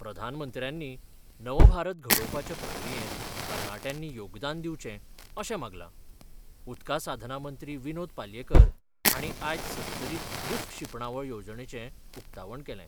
प्रधानमंत्र्यांनी नवभारत घडोवपाच्या प्रक्रियेत तरनाट्यांनी योगदान दींवचें अशें मांगलां उदकां साधना मंत्री विनोद पालयेकर हांणी आयज सत्तरीत लिफ्ट शिंपणावळ येवजणेचे उक्तावण केलें.